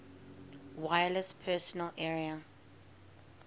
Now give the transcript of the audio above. wireless personal area